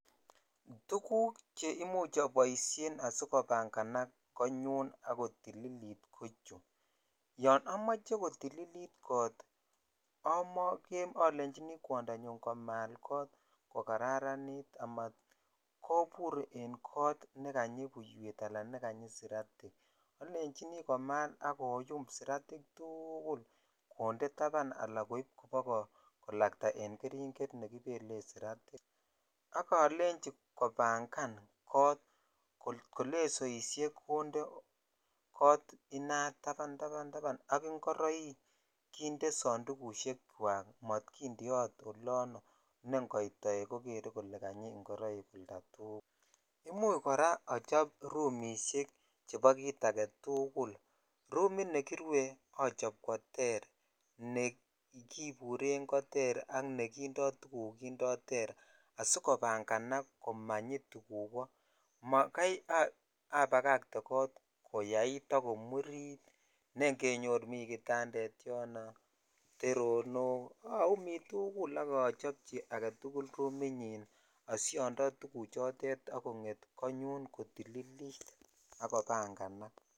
Tuguk cheimuch oboishen asikobanganak konyun ak kotililit kochu, yon omoche kotililit kot olenjini kwondanyun komaal kot kokararanit amat kobur en kot nekanyi buiwet alan nekanyi siratik, olenjini komal ak koyum siratik tugul konde taban alan koib kobakolakta en keringet elekibelen siratik, ak olenjin kobangan kot kotko lesoishek konde kot inat tabandaban ak inkoroik kinde sondukushekwak mot kindeot olono nengoit toek kokere kole kanyi ingoroik oldatugul, imuch koraa ochop rumishek chebo kii aketugul, romit nekirue ochop kwoter nekiburen koter ak nekindo tuguk kindo ter asikobanganak komanyi tuguk koo, makai abakakte koyait ak komurit neingenyor mi kitandet yon, teronok oumi tugul ok ochopchi aketugul rominyin oshondo tuguchotet ok konget konyun kotìlilit ak kobanganak.